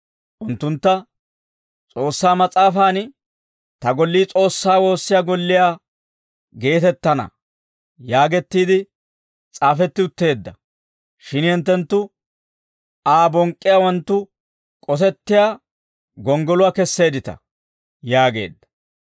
unttuntta, «S'oossaa Mas'aafan, ‹Ta gollii S'oossaa woossiyaa golliyaa geetettana› yaagettiide s'aafetti utteedda; shin hinttenttu Aa bonk'k'iyaawanttu k'osettiyaa gonggoluwaa kesseeddita» yaageedda.